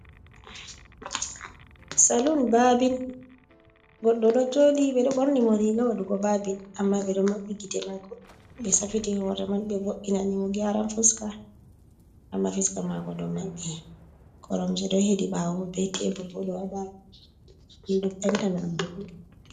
Salun babin goddo do jodi be do borni mo riga wadugo babin amma be do mabbi gite mako be safiti hore man be vobinani mo giyaran fuska amma fuska mako do mabbi koromje do hedi bawo be teburgo do haba windo penta na bulu.